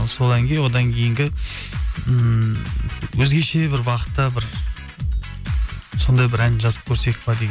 сол әнге одан кейінгі ммм өзгеше бір бағытта бір сондай бір ән жазып көрсек пе деген